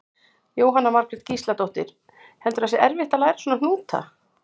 Jóhanna Margrét Gísladóttir: Heldurðu að það sé erfitt að læra svona hnúta?